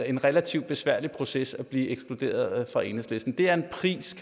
en relativt besværlig proces at blive ekskluderet af enhedslisten det er en pris